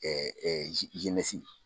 Ɛɛ